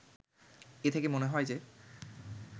এ থেকে মনে হয় যে